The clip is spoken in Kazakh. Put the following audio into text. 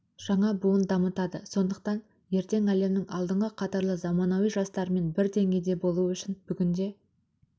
жаңа буын дамытады сондықтан ертең әлемнің алдыңғы қатарлы заманауи жастарымен бір деңгейде болу үшін бүгінде